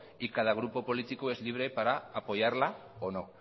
y cada grupo político es libre para apoyarla o no